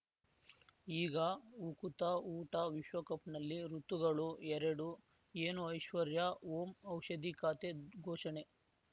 ಈಗ ಉಕುತ ಊಟ ವಿಶ್ವಕಪ್‌ನಲ್ಲಿ ಋತುಗಳು ಎರಡು ಏನು ಐಶ್ವರ್ಯಾ ಓಂ ಔಷಧಿ ಖಾತೆ ಘೋಷಣೆ